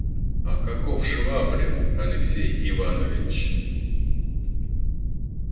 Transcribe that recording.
а каков швабрин алексей иванович